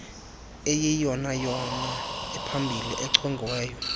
eyiyeyona iphambili echongiweyo